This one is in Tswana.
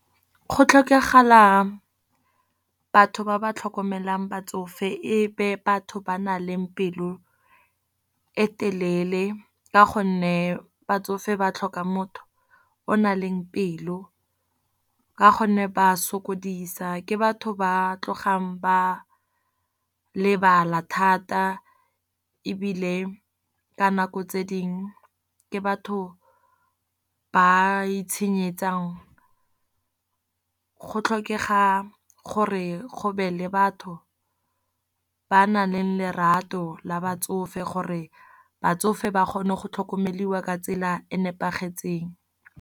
Go tlhokagala batho ba ba tlhokomelang batsofe e be batho ba na leng pelo e telele. Ka gonne batsofe ba tlhoka motho o na leng pelo, ka gonne ba sokodisa. Ke batho ba tlogang ba lebala thata, ebile ka nako tse dingwe ke batho ba itshenyetsang. Go tlhokega gore go be le batho ba nang le lerato la batsofe, gore batsofe ba kgone go tlhokomediwa ka tsela e nepagetseng.